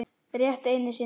Rétt einu sinni.